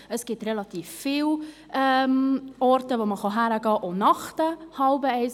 Es gibt relativ viele Orte, wo man hingehen kann, auch nach halb eins.